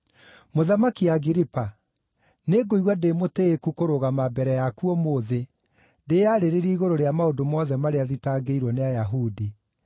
“Mũthamaki Agiripa, nĩngũigua ndĩ mũtĩĩku kũrũgama mbere yaku ũmũthĩ ndĩyarĩrĩrie igũrũ rĩa maũndũ mothe marĩa thitangĩirwo nĩ Ayahudi,